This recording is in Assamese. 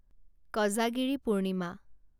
কজাগিৰি পূৰ্ণিমা